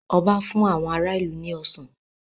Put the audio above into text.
Ọba fún àwọn ará ìlú ní Ọsàn